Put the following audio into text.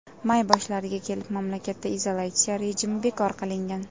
May boshlariga kelib mamlakatda izolyatsiya rejimi bekor qilingan .